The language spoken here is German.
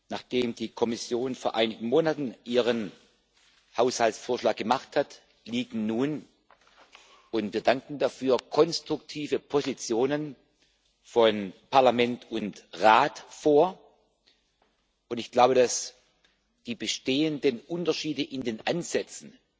Nachdem die Kommission vor einigen Monaten ihren Haushaltsentwurf vorgelegt hat, liegen nun und wir danken dafür konstruktive Positionen von Parlament und Rat vor, und ich glaube, dass die bestehenden Unterschiede in den Ansätzen